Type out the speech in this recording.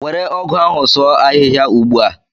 Were ọgụ ahụ sụọ ahihia ugbua!